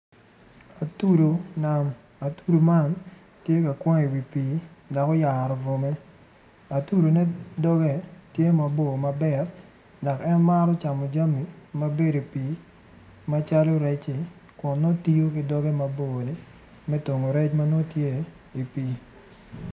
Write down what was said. Atudu nam atudu man tye ka kwang iwi pii dok oyaro bwome atudu ne doge tye mabor mabit dok en maro camo jami mabedo i pii macalo rec-ci dok nongo tiyo ki doge mabor ni me tongo rec matye i pii